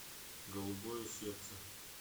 голубое сердце